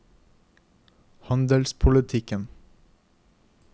handelspolitikken